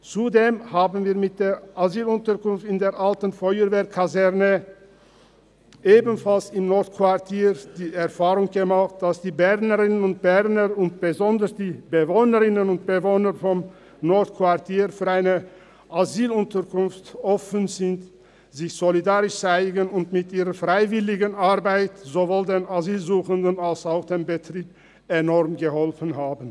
Zudem haben wir mit der Asylunterkunft in der Alten Feuerwehrkaserne – ebenfalls im Nordquartier – die Erfahrung gemacht, dass die Bernerinnen und Berner und besonders die Bewohnerinnen und Bewohner des Nordquartiers für eine Asylunterkunft offen sind, sich solidarisch zeigen und mit ihrer Freiwilligenarbeit sowohl den Asylsuchenden als auch dem Betrieb enorm geholfen haben.